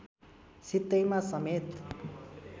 सित्तैमा समेत